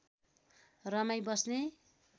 रमाई बस्ने